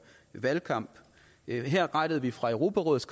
valgkamp her rettede vi fra europarådets